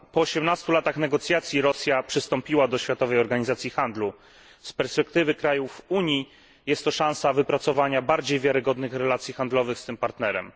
Po 18 latach negocjacji Rosja przystąpiła do Światowej Organizacji Handlu. Z perspektywy krajów Unii jest to szansa wypracowania bardziej wiarygodnych relacji handlowych z tym partnerem.